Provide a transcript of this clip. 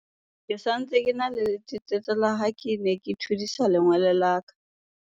ke sa ntse ke na le letetetso la ha ke ne ke thudisa lengole la ka